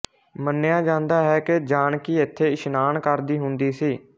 ਮੰਨਿਆ ਜਾਂਦਾ ਹੈ ਕਿ ਜਾਨਕੀ ਇੱਥੇ ਇਸਨਾਨ ਕਰਦੀ ਹੁੰਦੀ ਸੀ